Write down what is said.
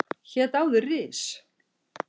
Hét áður Ris